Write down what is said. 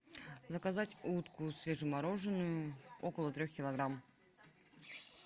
заказать утку свежемороженую около трех килограмм